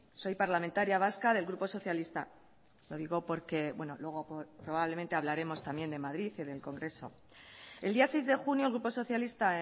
soy parlamentaria vasca del grupo socialista lo digo porque luego probablemente hablaremos también de madrid y del congreso el día seis de junio el grupo socialista